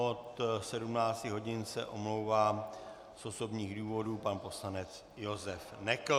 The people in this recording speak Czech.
Od 17 hodin se omlouvá z osobních důvodů pan poslanec Josef Nekl.